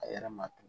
A yɛrɛ ma tugun